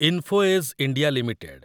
info edge India limited